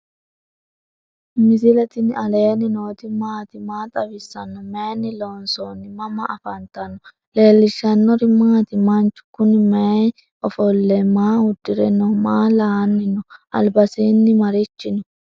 misile tini alenni nooti maati? maa xawissanno? Maayinni loonisoonni? mama affanttanno? leelishanori maati? manchu kunni mayiana offolino? maa uudire no?maa la"anino? albasini arichi no?